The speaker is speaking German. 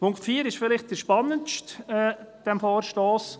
Punkt 4 ist vielleicht der spannendste an diesem Vorstoss.